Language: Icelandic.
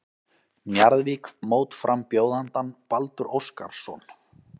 Njarðvík mótframbjóðandann Baldur Óskarsson.